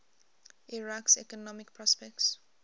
iraq's economic prospects